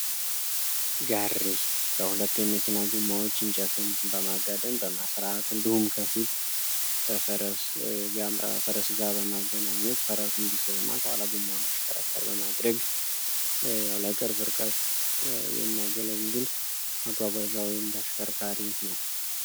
ጋሪ ከሁለት የመኪና ጎማዎች እንጨትን በማጋደም በመስራት እንዲሁም ከፊት በፈረስ ጋር በማገናኘት ፈረሱ እንዲስብ እና ከኋላ በመሆን አሽከር በማድረግ የቅርብ ርቀት የሚያገለግል ማጓጓዣ ወይም ተሽከርካሪ ነው።